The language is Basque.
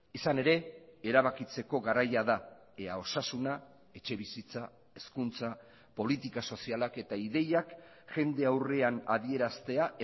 izan ere erabakitzeko garaia da ea osasuna etxebizitza hezkuntza politika sozialak eta ideiak jende aurrean adieraztea